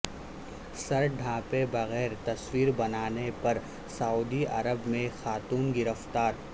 سر ڈھانپے بغیر تصویر بنانے پر سعودی عرب میں خاتون گرفتار